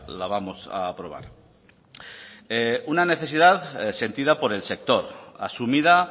la vamos a aprobar una necesidad sentida por el sector asumida